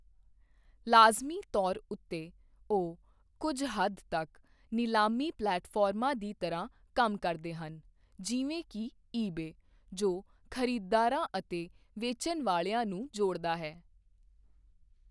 ਲਾਜ਼ਮੀ ਤੌਰ ਉੱਤੇ, ਉਹ ਕੁਝ ਹੱਦ ਤੱਕ ਨਿਲਾਮੀ ਪਲੇਟਫਾਰਮਾਂ ਦੀ ਤਰ੍ਹਾਂ ਕੰਮ ਕਰਦੇ ਹਨ, ਜਿਵੇਂ ਕਿ ਈਬੇ, ਜੋ ਖਰੀਦਦਾਰਾਂ ਅਤੇ ਵੇਚਣ ਵਾਲਿਆਂ ਨੂੰ ਜੋੜਦਾ ਹੈ।